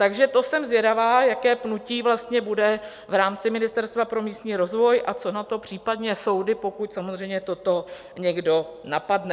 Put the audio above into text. Tak to jsem zvědavá, jaké pnutí vlastně bude v rámci Ministerstva pro místní rozvoj a co na to případně soudy, pokud samozřejmě toto někdo napadne.